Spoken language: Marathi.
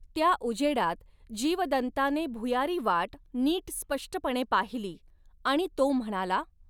त्या उजेडात जीवदन्ताने भुयारी वाट नीट स्पष्टपणे पाहिली, आणि तो म्हणाला.